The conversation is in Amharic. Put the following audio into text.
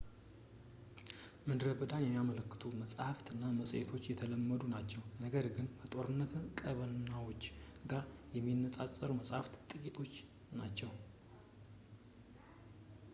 ከምድረ በዳ መዳንን የሚያመለክቱ መጻሕፍት እና መጽሔቶች የተለመዱ ናቸው ፣ ነገር ግን ከጦርነት ቀጠናዎች ጋር የሚነጋገሩ ጽሑፎች ጥቂቶች ናቸው